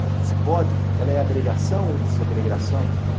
Ela é agregação ou desagregação?